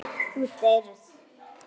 Þú deyrð.